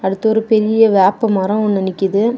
இது ஒரு பெரிய வேப்பமரோ ஒன்னு நிக்குது.